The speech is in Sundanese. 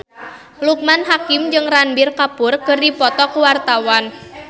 Loekman Hakim jeung Ranbir Kapoor keur dipoto ku wartawan